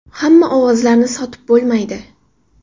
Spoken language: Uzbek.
Hamma ovozlarni sotib bo‘lmaydi.